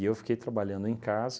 E eu fiquei trabalhando em casa,